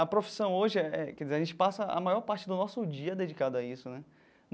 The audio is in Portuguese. A profissão hoje é, quer dizer a gente passa a maior parte do nosso dia dedicado a isso né.